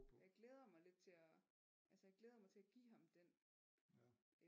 Jeg glæder mig lidt til at altså jeg glæder mig til at give ham den